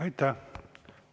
Aitäh!